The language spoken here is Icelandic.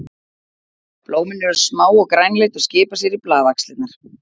Blómin eru smá og grænleit og skipa sér í blaðaxlirnar.